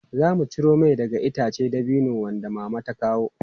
Zamu ciro mai daga ice dabino wanda Mama ta kawo.